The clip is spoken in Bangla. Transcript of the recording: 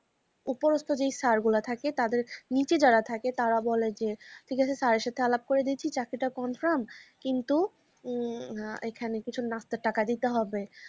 উপ্রস্ত যে স্যার গুলো থাকে তাদের নিচে যারা থাকে তারা বলে যে ঠিক আছে Sir এর সাথে আলাপ করে দিয়েছি চাকরিটা confirm কিন্তু ম হা এখানে কিছু নাস্তার টাকা দিতে হবে।